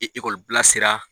sera.